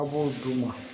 A b'o d'u ma